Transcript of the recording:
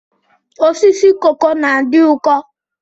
Osisi koko na-adị ụkọ.